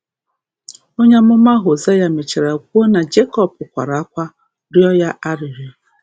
Onye amụma Hozea mechara kwuo na Jekọb “kwara akwa, rịọ Ya arịrịọ".